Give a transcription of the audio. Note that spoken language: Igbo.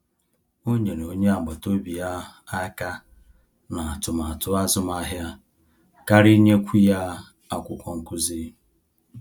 O nyere onye agbata obi ya aka ná atụmatụ azụmahịa karịa inyekwu ya akwụkwọ nkụzi